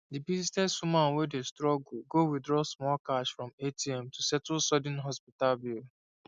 the businesswoman wey dey struggle go withdraw small cash from atm to settle sudden hospital bill